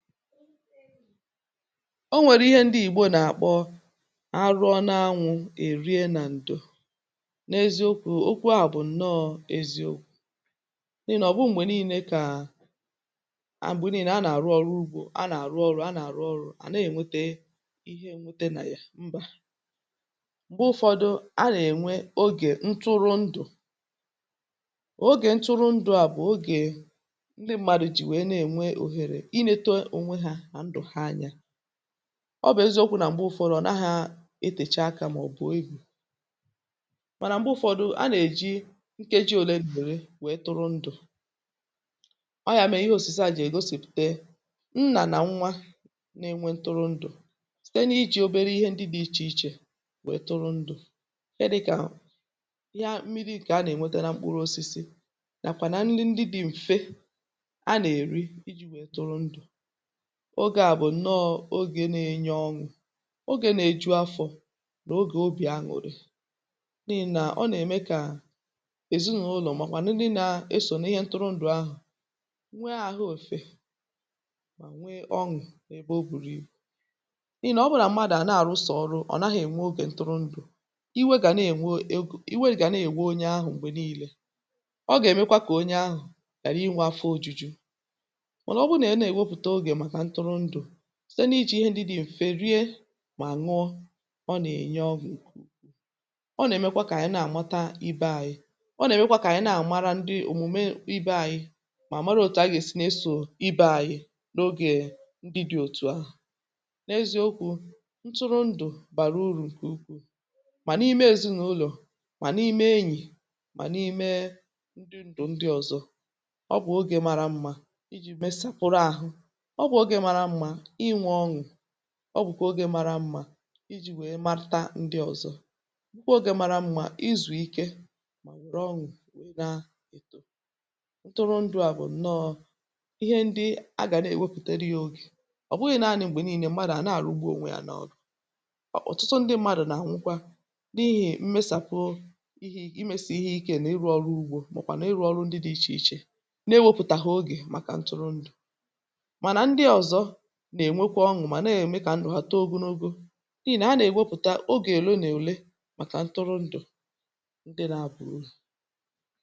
O nwèrù ihe ndị Ìgbò nà-àkpọ “arụrụ na-anwụ̇ è rie nà ǹdò,” n’eziokwu̇. Okwu ahụ̀ bụ̀ ǹnọọ̇ eziokwu̇, n’ihi nà ọ̀ bụrụ nà, um m̀gbè niile ka a nà-arụ ọrụ ugbò, a nà-àrụ ọrụ ahụ̀ mgbe niile, à nà-ènwete ihe a chọrọ nà ya? Mbà. M̀gbè ụfọdụ̀, a nà-ènwe ogè ntụrụndụ̀. Ogè ntụrụndụ̀ a bụ̀ ogè ndị mmadụ̀ jì wèe na-ènwe òhèrè, ọ bụ̀ eziokwu̇ nà m̀gbè ụfọdụ̀, ọ̀ naghị̀ etècha akà, ma ọ̀ bụ̀ egwù̇. Mànà m̀gbè ụfọdụ̀, a nà-èji nkeji òlè lùmùrù wee tụrụndụ̀, ọọ̀ ya, mèe ihe òsìsà à jì ègosìpùte na mmadụ̀ na-enwe ntụrụndụ̀. N’àbụ̀ nwa um na-enwe ntụrụndụ̀ site n’iji̇ obere ihe ndị dị̇ iche iche wèe tụrụndụ̀ ihe dị̇kà mmiri̇, mkpụrụ osisi, nà ọbụna ihe ndị dị mfe a nà-èri. Ogè à bụ̀ ǹnọọ̇ ogè na-enye ọṅụ̀, ogè nà-eju afọ̇, nà ogè obì na-aṅụ̀ ụtọ̄, n’ihi nà ọ nà-ème kà ezinụlọ̀ ma nà ndị na-esò nà ihe ntụrụndụ̀ ahụ̀ nwee àhụ̀ ofè, nwee ọṅụ̀. Ebe ọ gwùrìí, n’ihi nà ọ bụrụ nà mmadụ̀ à na-àrụ sọ̀rọ̀ ọrụ, ọ̀ naghị̇ ènwe ogè ntụrụndụ̀, iwe gà na-ènwe egȯ, iwe gà na-èwuo onye ahụ̀. M̀gbè niile, ọ gà-èmekwa kà onye ahụ̀ yàrà inwȧ afọ òjuju̇, sɪ̀tɛ ná íjì íhé ndị dị mfe rie, ṅụ́ọ, ọ nà-ènye ọgụ̀ ụ̀kwụkwọ. Ọ nà-èmekwa kà ànyị nà-àmụta ibe ànyị, ọ nà-èmekwa kà ànyị na-àmara ndị òmùme ibe ànyị, mà mara òtù a gà-èsi n’eso ibe ànyị n’ogè ndị dị otu ahụ̀. N’eziokwu̇, ntụrụndụ̀ bàrà urù ǹkè ukwù, ma n’ime ezinụlọ̀, ma n’ime enyi, ma n’etiti ndị ndụ̀ ndị ọzọ. Ọ bụ ọgwụ̀ ogè mara mma iji mesapụrụ àhụ̀, ọ bụkwa oge mara mma iji̇ wèe maruta ndị ọzọ. um Ǹkwe oge mara mma izù ike, ma ree ọṅụ̀, ọ nà-etò ntụrụndụ̀. À bụ̀ ǹnọọ̇ ihe ndị a gà-èwepùtèrị ya oge, ọ bụghị̇ nanị̇ m̀gbè niile mmadụ̀ na-àrà ugbò. Ọ̀tụtụ̀ ndị mmadụ̀ nà-anwụkwa n’ihì m̀mesàpụ̀ ihe, ịmèsì ihe ike, nà ịrụ ọrụ ugbò, maọ̀kwa nà ịrụ ọrụ ndị dị iche iche, n’enweghị oge ntụrụndụ̀. N’eziokwu̇, ntụrụndụ̀ nà-eme kà ndụ̀ mmadụ̀ too ogonogo, n’ihi nà ọ nà-enye ahụ̀ike, ọṅụ̀, nà udo.